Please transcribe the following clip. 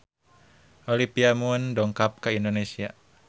Olivia Munn dongkap ka Indonesia